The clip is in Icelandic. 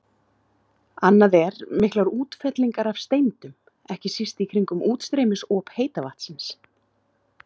Annað er miklar útfellingar af steindum, ekki síst í kringum útstreymisop heita vatnsins.